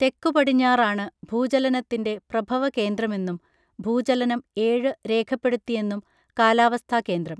തെക്കു പടിഞ്ഞാറാണ് ഭൂചലനത്തിൻറെ പ്രഭവ കേന്ദ്രമെന്നും ഭൂചലനം ഏഴ് രേഖപ്പെടുത്തിയെന്നും കാലാവസ്ഥാ കേന്ദ്രം